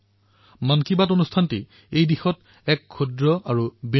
phone কলৰ বাবে আপোনাক বহুত বহুত ধন্যবাদ আপোনাৰ প্ৰশ্ন এক প্ৰকাৰে আন্তৰিকাৰে সোধা প্ৰশ্ন